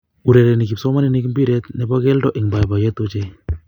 Urereni kipsomaninik mpiret ne bo kelto eng boiboiyee ochei.